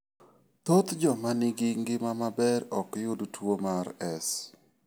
Thoth joma nigi ngima maber ok yud tuwo mar S.